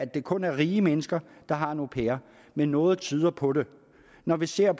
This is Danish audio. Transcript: det kun er rige mennesker der har en au pair men noget tyder på det når vi ser